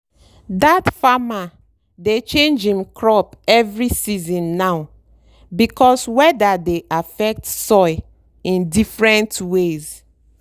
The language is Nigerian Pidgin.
that farmer dey change him crop every season now because weather dey affect soil in different ways.